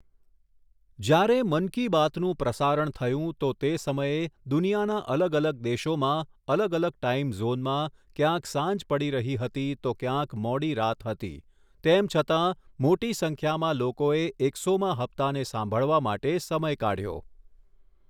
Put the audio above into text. જ્યારે મન કી બાતનું પ્રસારણ થયું તો તે સમયે દુનિયાના અલગ અલગ દેશોમાં, અલગ અલગ ટાઇમ ઝૉનમાં ક્યાંક સાંજ પડી રહી હતી તો ક્યાંક મોડી રાત હતી, તેમ છતાં, મોટી સંખ્યામાં લોકોએ એકસોમા હપ્તાને સાંભળવા માટે સમય કાઢ્યો.